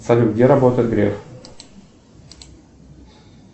салют где работает греф